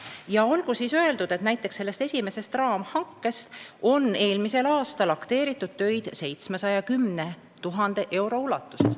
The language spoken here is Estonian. Ja olgu öeldud, et selle esimese raamhanke korras on eelmisel aastal akteeritud töid 710 000 euro ulatuses.